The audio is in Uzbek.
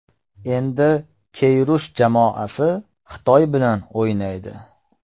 Endi Keyrush jamoasi Xitoy bilan o‘ynaydi .